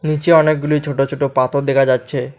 নীচে অনেকগুলি ছোট ছোট পাথর দেখা যাচ্ছে।